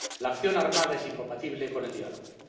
La acción armada es incompatible con el diálogo.